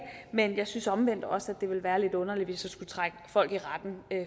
men jeg synes omvendt også det ville være lidt underligt hvis jeg skulle trække folk i retten